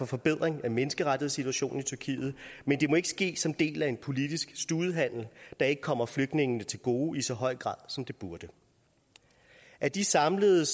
forbedring af menneskerettighedssituationen i tyrkiet men det må ikke ske som en del af en politisk studehandel der ikke kommer flygtningene til gode i så høj grad som det burde af de samlet